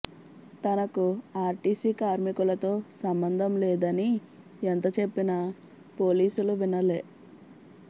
తనకు ఆర్టీసీ కార్మికులతో సంబంధం లేదని ఎంత చెప్పినా పోలీసులు వినలె